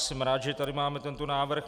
Jsem rád, že tady máme tento návrh.